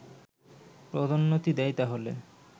পদোন্নতি দেয় তাহলে